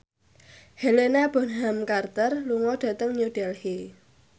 Helena Bonham Carter lunga dhateng New Delhi